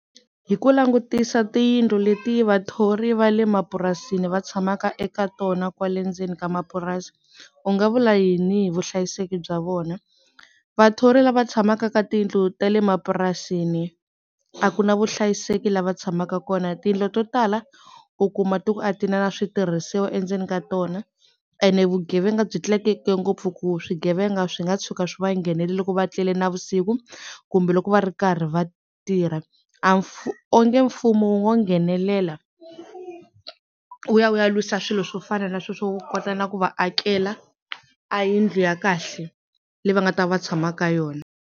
Hi ku langutisa tiyindlu leti vathori va le mapurasini va tshamaka eka tona kwale ndzeni ka mapurasi u nga vula yini hi vuhlayiseki bya vona? Vathori lava tshamaka ka tiyindlu ta le mapurasini a ku na vuhlayiseki la va tshamaka kona tindlo to tala u kuma ti ku a ti na na switirhisiwa endzeni ka tona ena vugevenga byi tlakuke ngopfu ku swigevenga swi nga tshuka swi va nghenela loko va tlele na vusiku kumbe loko va ri karhi va tirha a onge mfumo wu ngo nghenelela wu ya wu ya lwisa swilo swo fana na swo swo kota na ku va akela a yindlu ya kahle leyi va nga ta va tshama ka yona.